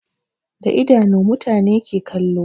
Da idanu mutane ke kallo